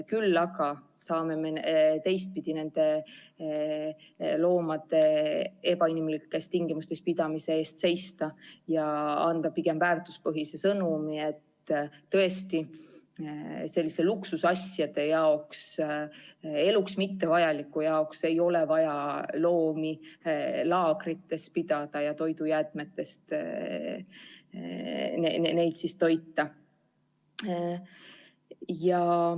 Küll aga saame me teistpidi nende loomade ebainimlikes tingimustes pidamise vastu seista ja anda pigem väärtuspõhise sõnumi, et tõesti, selliste luksusasjade jaoks, eluks mittevajalike asjade jaoks ei ole vaja loomi laagrites pidada ja toidujäätmetest neid toita.